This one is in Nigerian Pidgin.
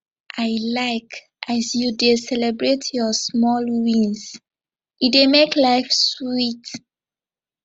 i like as you dey celebrate your small wins e dey make life sweet